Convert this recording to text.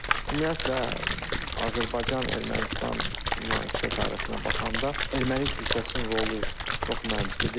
Ümumiyyətlə, Azərbaycan, Ermənistan münaqişə tarixinə baxanda erməni kilsəsinin rolu çox mənfidir.